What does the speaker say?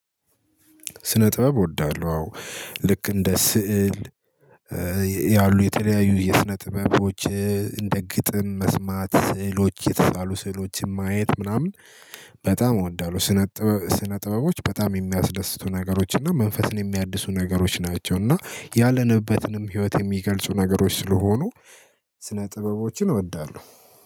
ስነ ጥበብ እወዳለሁ አዎ ልክ እንደ ስዕል ያሉ የተለያዩ የስነ ጥበቦች እንደ ግጥም መስማት ስዕሎች የተሳሉ ስዕሎችን ማየት ምናምን በጣም እወዳለሁ። ስነ ጥበብ ስነ ጥበቦች በጣም የሚያስደስቱ ነገሮች እና መንፈስን የሚያድሱ ነገሮች ናቸው። እና ያለንበትንም ህይወት የሚገልጹ ነገሮች ስለሆኑ ስነ ጥበቦችን እወዳለሁ።